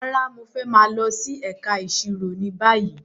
Rárá, Mo fẹ maa lọ si ẹka iṣiro ni bayi